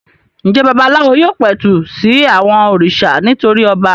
Ǹjẹ́ babaláwo yóò pẹ̀tù sí àwọn òrìṣà nítorí ọba?